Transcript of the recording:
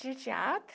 Tinha teatro.